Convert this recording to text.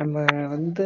நம்ம வந்து